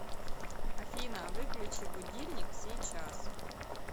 афина выключи будильник сейчас